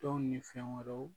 Tɔn ni fɛn wɛrɛw